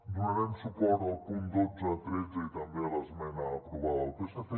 donarem suport als punts dotze i tretze i també a l’esmena aprovada pel psc